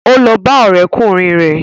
Ó lọ bá ọ̀rẹ́kùnrin rẹ̀